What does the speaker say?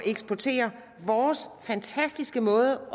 eksportere vores fantastiske måde